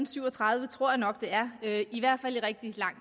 syv og tredive tror jeg nok det er det er i hvert fald rigtig lang